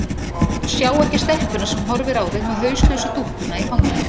Sjá ekki stelpuna sem horfir á þau með hauslausu dúkkuna í fanginu.